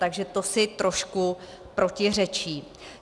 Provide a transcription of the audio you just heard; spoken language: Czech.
Takže to si trošku protiřečí.